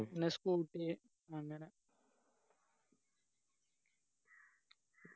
പിന്നെ scooty അങ്ങനെ